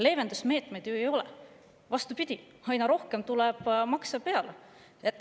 Leevendusmeetmeid ju ei ole, vastupidi, aina rohkem tuleb makse peale.